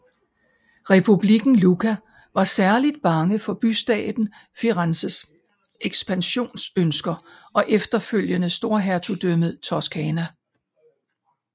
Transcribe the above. Republikken Lucca var særligt bange for bystaten Firenzes ekspansionønsker og efterfølgende Storhertugdømmet Toscana